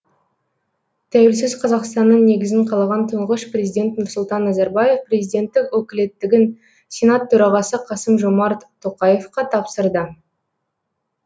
тәуелсіз қазақстанның негізін қалаған тұңғыш президент нұрсұлтан назарбаев президенттік өкілеттігін сенат төрағасы қасым жомарт тоқаевқа тапсырды